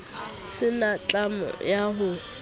se na tlamo ya ho